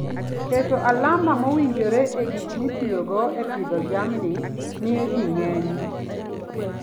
Keto alama mowinjore e gik mitiyogo e pidho jamni, miyo ji ng'eny.